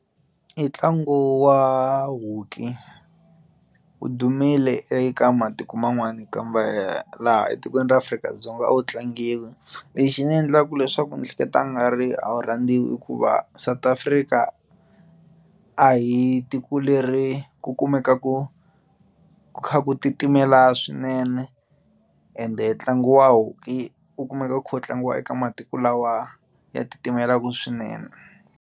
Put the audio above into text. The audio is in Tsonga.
I ntlangu wa hockey wu dumile eka matiko man'wana kambe ya laha etikweni ra Afrika-Dzonga a wu tlangiwi lexi xi ndzi endlaka leswaku ni ehleketa nga ri a wu rhandziwa hikuva South Africa a hi tiko leri ku kumeka ku kha ku titimela swinene ende ntlangu wa hockey wu kumeka wu kha wu tlangiwa eka matiko lawa ya titimelaka swinene.